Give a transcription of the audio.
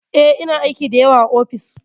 E, ina aiki da yawa a ofis.